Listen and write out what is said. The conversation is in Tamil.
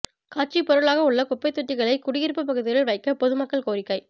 காட்சி பொருளாக உள்ள குப்பைத் தொட்டிகளை குடியிப்பு பகுதியில் வைக்க பொதுமக்கள் கோரிக்கை